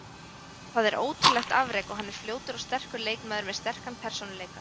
Það er ótrúlegt afrek og hann er fljótur og sterkur leikmaður með sterkan persónuleika.